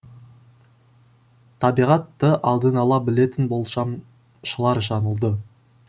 табиғатты алдын ала білетін болжамшылар жаңылды